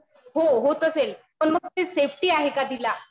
हो. होत असेल. पण मग ते सेफ्टी आहे का तिला.